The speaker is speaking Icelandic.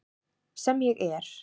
Sem ég er.